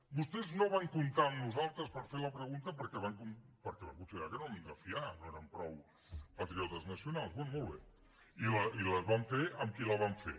vostès no van comptar amb nosaltres per fer la pregunta perquè van considerar que no érem de fiar no érem prou patriotes nacionals bé molt bé i la van fer amb qui la van fer